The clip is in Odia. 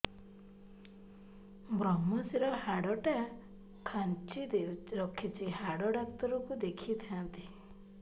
ଵ୍ରମଶିର ହାଡ଼ ଟା ଖାନ୍ଚି ରଖିଛି ହାଡ଼ ଡାକ୍ତର କୁ ଦେଖିଥାନ୍ତି